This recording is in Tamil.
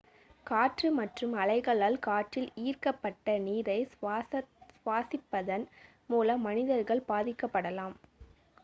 காற்று மற்றும் அலைகளால் காற்றில் ஈர்க்கப்பட்ட நீரை சுவாசிப்பதன் மூலம் மனிதர்கள் பாதிக்கப்படலாம்